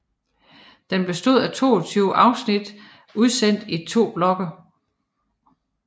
Den bestod af 22 afsnit udsendt i to blokke